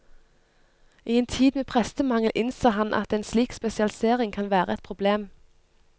I en tid med prestemangel innser han at en slik spesialisering kan være et problem.